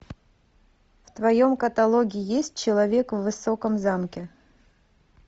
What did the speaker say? в твоем каталоге есть человек в высоком замке